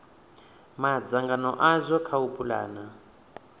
madzangano azwo kha u pulana